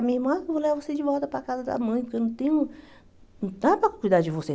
A minha irmã falou, vou levar você de volta para a casa da mãe, porque eu não tenho, não dá para cuidar de você.